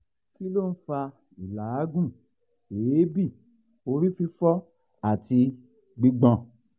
kí ló ń fa ìlaagun eebi orí fifo àti gbigbon?